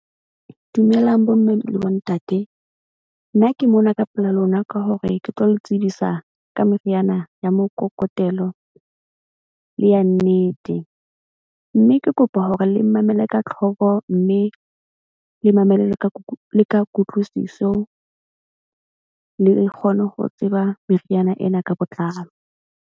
Dumelang bomme le bontate. Nna ke mona ka pela lona ka hore ke tlo le tsebisa ka meriana ya mokokotelo le ya nnete. Mme ke kopa hore le mmamele ka tlhoko mme le mamele le ka kutlwisiso le kgone ho tseba meriana ena ka botlalo.